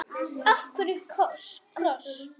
Af hverju kross?